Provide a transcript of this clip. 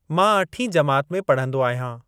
मां अठीं जमात में पढ़ंदो आहियां।